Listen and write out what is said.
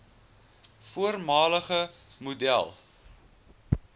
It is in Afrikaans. voormalige model